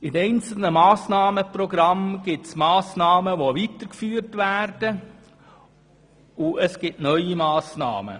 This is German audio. In den einzelnen Massnahmenprogrammen gibt es solche, die weitergeführt werden und solche die neu sind.